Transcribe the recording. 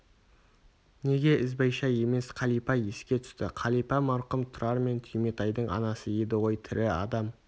неге ізбайша емес қалипа еске түсті қалипа марқұм тұрар мен түйметайдың анасы еді ғой тірі адам